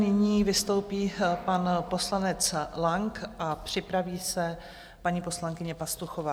Nyní vystoupí pan poslanec Lang a připraví se paní poslankyně Pastuchová.